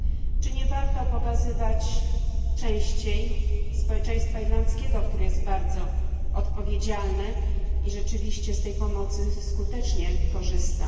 Czy nie warto pokazywać częściej społeczeństwa irlandzkiego, które jest bardzo odpowiedzialne i rzeczywiście z tej pomocy skutecznie korzysta?